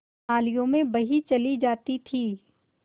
नालियों में बही चली जाती थी